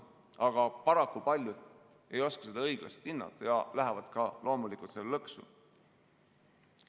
Aga paraku paljud ei oska seda õiglaselt hinnata ja lähevad ka loomulikult sellesse lõksu.